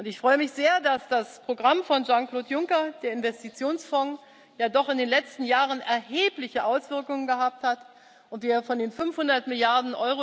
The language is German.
Ich freue mich sehr, dass das Programm von Jean Claude Juncker, der Investitionsfonds, ja doch in den letzten Jahren erhebliche Auswirkungen gehabt hat und wir von den 500 Mrd.